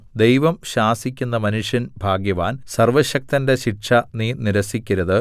ദൈവം ശാസിക്കുന്ന മനുഷ്യൻ ഭാഗ്യവാൻ സർവ്വശക്തന്റെ ശിക്ഷ നീ നിരസിക്കരുത്